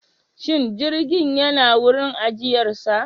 Shin jirgin yana wurin ajiyarsa?